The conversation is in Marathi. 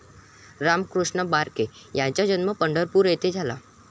रामकृष्ण बारके यांचा जन्म पंढरपूर येथे झाला.